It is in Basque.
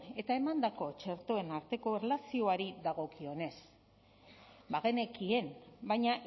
eta emandako txertoen arteko erlazioari dagokionez bagenekien baina